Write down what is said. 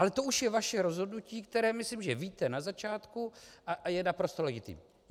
Ale to už je vaše rozhodnutí, které myslím, že víte na začátku, a je naprosto legitimní.